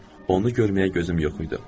Onu görməyə gözüm yox idi.